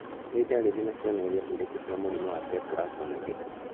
Nĩ ndariri na cionereria irĩkũ cia mũrimũ wa Tetrasomy X?